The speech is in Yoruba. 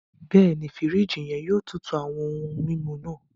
Bẹẹni, firiji yẹn yóò tútù awọn ohùn mímu náà.